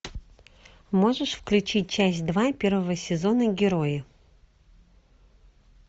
можешь включить часть два первого сезона герои